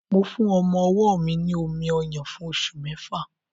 Mo fún ọmọ-ọwọ́ mi ní omi-ọyàn fún oṣù mẹ́fà